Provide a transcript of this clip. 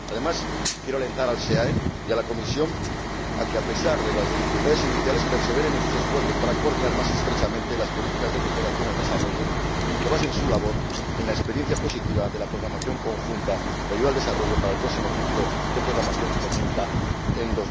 Además, quiero alentar al SEAE y a la Comisión a que, a pesar de las dificultades iniciales, perseveren en sus esfuerzos para coordinar más estrechamente las políticas de cooperación al desarrollo y basen su labor en la experiencia positiva de la programación conjunta de ayuda al desarrollo para el próximo ciclo de programación que comienza en